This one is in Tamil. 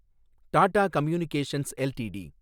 Tata communications LTD